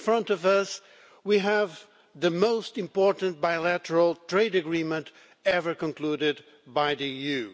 In front of us, we have the most important bilateral trade agreement ever concluded by the EU.